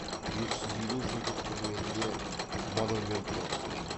бес жүз елу жылдық құрметіне монумент тұрғызылады